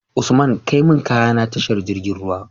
Usman kai mun kaya na tashar jirgin ruwa